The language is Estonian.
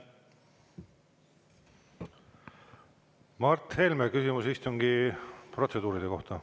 Mart Helme, küsimus istungi protseduuride kohta.